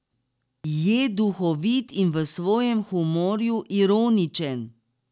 Je duhovit in v svojem humorju ironičen.